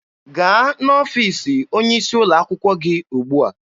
Gaa n'ọfiisi onye isi ụlọ akwụkwọ gị ugbua!